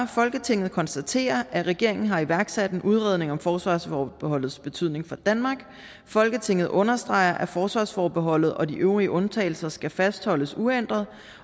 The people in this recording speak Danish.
folketinget konstaterer at regeringen har iværksat en udredning om forsvarsforbeholdets betydning for danmark folketinget understreger at forsvarsforbeholdet og de øvrige undtagelser skal fastholdes uændrede